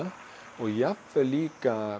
og jafnvel líka